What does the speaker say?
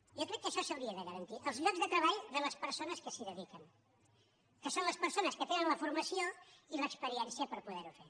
jo crec que això s’hauria de garantir els llocs de treball de les persones que s’hi dediquen que són les persones que tenen la formació i l’experiència per po·der·ho fer